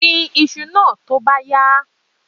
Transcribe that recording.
Gbin iṣu náà tó bá yá!